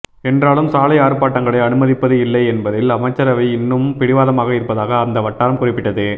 என்றாலும் சாலை ஆர்ப்பாட்டங்களை அனுமதிப்பது இல்லை என்பதில் அமைச்சரவை இன்னும் பிடிவாதமாக இருப்பதாக அந்த வட்டாரம் குறிப்பிட்டது